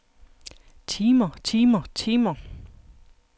timer timer timer